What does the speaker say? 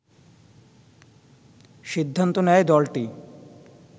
সিদ্ধান্ত নেয় দলটি